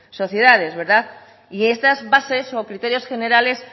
sociedades verdad y estas bases o criterios generales